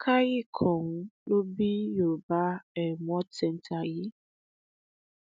ló bí yorùbá um world centre yìí